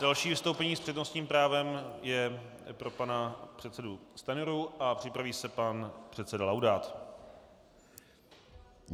Další vystoupení s přednostním právem je pro pana předsedu Stanjuru a připraví se pan předseda Laudát.